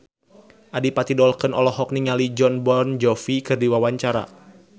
Adipati Dolken olohok ningali Jon Bon Jovi keur diwawancara